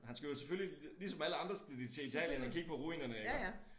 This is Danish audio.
Han skal jo selvfølgelig ligesom alle andre skal de til Italien og kigge på ruinerne iggå